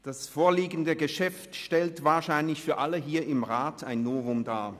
Das vorliegende Geschäft stellt wahrscheinlich für alle hier im Rat ein Novum dar.